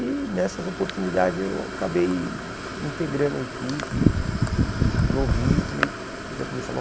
E nessas oportunidades eu acabei integrando a equipe, e novinho, come já começava